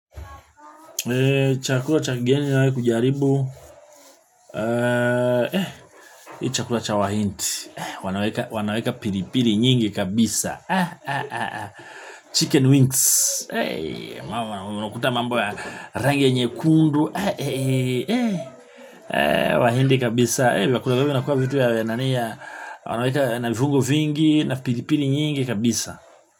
Chakula cha kigeni nawe kujaribu. Chakula cha wahinti wanaweka pilipili nyingi kabisa Chicken wings Ma wanakuta mambo ya rangi nyekundu. Wahindi kabisa vyakula vya vinkuwaa navugu vingi na pilipili nyingi kabisa.